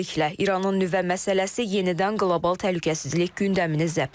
Beləliklə, İranın nüvə məsələsi yenidən qlobal təhlükəsizlik gündəmini zəbt edib.